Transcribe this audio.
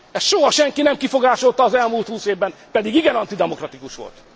Ezt soha senki nem kifogásolta az elmúlt húsz évben, pedig igen antidemokratikus volt.